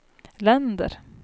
länder